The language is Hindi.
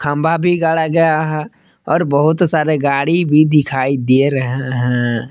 खंभा भी गाड़ा गया है और बहुत सारे गाड़ी भी दिखाई दे रहे है हैं।